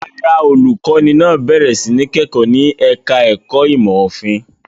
Rárá, olùkọ́ní náà bẹ̀rẹ̀ sí ní kẹ́kọ̀ọ́ ní ẹ̀ka-ẹ̀kọ́ ìmọ̀-òfin.